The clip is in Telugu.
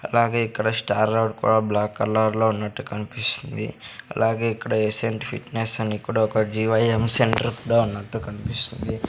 అలాగే ఇక్కడ స్టార్ రోడ్ కూడా బ్లాక్ కలర్లో ఉన్నట్టు కన్పిస్తుంది అలాగే ఇక్కడ ఎసెంట్ ఫిట్నెస్ అని కూడా ఒక జీ_వై_యం సెంటర్ కూడా ఉన్నట్టు కన్పిస్తుంది.